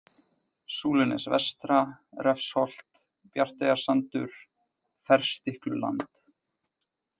Súlunes-Vestra, Refsholt, Bjarteyjarsandur, Ferstikluland